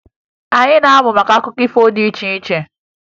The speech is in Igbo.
Anyị na-amụ maka akụkọ ifo dị iche iche